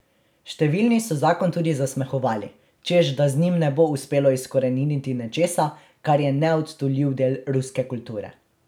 Številni so zakon tudi zasmehovali, češ da z njim ne bo uspelo izkoreniniti nečesa, kar je neodtujljiv del ruske kulture.